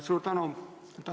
Suur tänu!